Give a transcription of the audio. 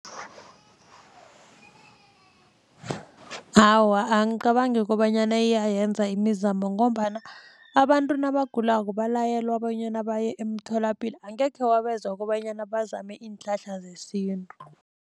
Awa, angicabangi kobanyana iyayenza imizamo ngombana abantu nabagulako balayelwa bonyana baye emtholapilo angekhe wabezwa kobanyana bazame iinhlahla zesintu.